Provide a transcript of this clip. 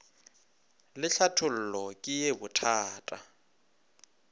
le tlhathollo ke ye bothata